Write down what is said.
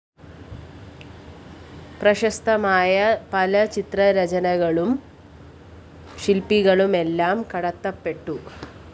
പ്രശസ്തമായ പല ചിത്രരചനകളും ശില്‍പങ്ങളുമെല്ലാം കടത്തപ്പെട്ടു